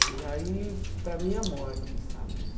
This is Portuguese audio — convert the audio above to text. E aí, para mim, é a morte, sabe?